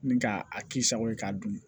Ni k'a k'i sago ye k'a dun